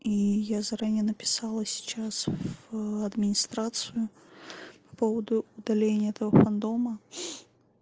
и я заранее написала сейчас в администрацию по поводу удаления этого фандома